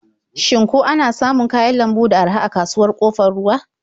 Shin ko ana samun kayan lambu da araha a kasuwar Ƙofar Ruwa?